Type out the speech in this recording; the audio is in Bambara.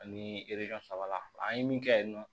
Ani saba an ye min kɛ yen nɔ